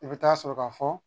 I bɛ taa sɔrɔ ka fɔ